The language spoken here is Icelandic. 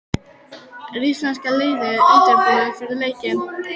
Er íslenska liðið undirbúið fyrir leikinn?